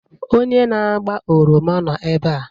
Onye na-agba oroma nọ ebe a.